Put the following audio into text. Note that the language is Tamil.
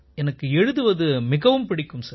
எனக்கு எழுதுவது மிகவும் பிடிக்கும் சார்